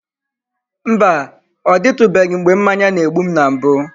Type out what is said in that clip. Mba, ọ dịtụbeghị mgbe mmanya na-egbu m na mbụ.